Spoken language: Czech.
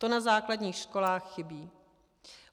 To na základních školách chybí.